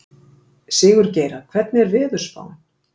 Sigurgeira, hvernig er veðurspáin?